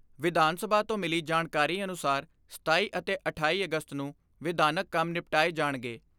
ਵਿਧਾਨ ਸਭਾ ਤੋਂ ਮਿਲੀ ਜਾਣਕਾਰੀ ਅਨੁਸਾਰ ਸਤਾਈ ਅਤੇ ਅਠਾਈ ਅਗਸਤ ਨੂੰ ਵਿਧਾਨਕ ਕੰਮ ਨਿਪਟਾਏ ਜਾਣਗੇ।